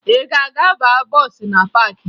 Ị ga-aga baa bọọsụ na paakị?